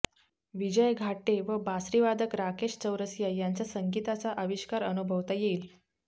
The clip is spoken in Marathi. विजय घाटे व बासरीवादक राकेश चौरसिया यांचा संगीताचा आविष्कार अनुभवता येईल